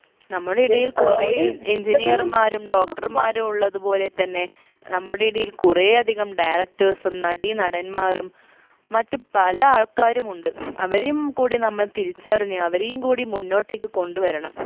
നമ്മുടെ ഇടയിൽ കുറേ engineer മാരും doctor മാരും ഉള്ളത് പോലെ തന്നെ നമ്മുടെ ഇടയിൽ കുറെ അധികം directors ഉം നടീനടന്മാരും മറ്റു പല ആൾക്കാരുമുണ്ട് അവരെയും കൂടി നമ്മൾ തിരിച്ചറിഞ്ഞ് അവരെയും കൂടി മുന്നോട്ടേക്ക് കൊണ്ടുവരണം